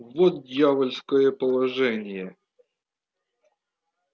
вот дьявольское положение